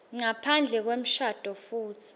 ngaphandle kwemshado futsi